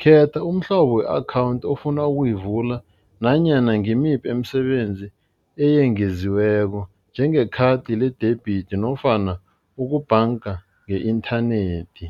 khetha umhlobo we-akhawunthi ofuna ukuyivula nanyana ngimiphi imisebenzi eyengeziweko njengekhadi le-debit nofana ukubhanga nge-inthanethi.